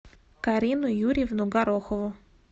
карину юрьевну горохову